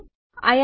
હમણાં માટે આવજો